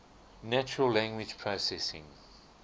natural language processing